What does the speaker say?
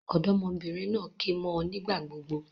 Òdómọbìnrin naa ké mó ọ nígbà gbogbo